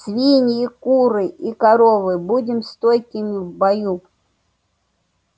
свиньи куры и коровы будем стойкими в бою